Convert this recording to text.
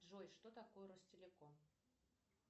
джой что такое ростелеком